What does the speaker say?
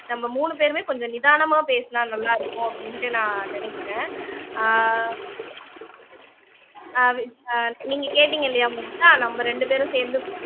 நம்ம மூணு பேருமே கொஞ்சம் நிதானமா பேசுனா நல்லா இருக்கும் அப்படின்னுட்டு நான் நினைக்கிறேன் ஆஹ் ஆஹ் அஹ் நீங்க கேட்டீங்க இல்லையா மோனிஷா நம்ம ரெண்டு பேரும் சேர்ந்து